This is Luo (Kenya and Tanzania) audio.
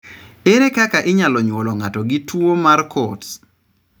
Ere kaka inyalo nyuol ng'ato gi tuo mar Coats?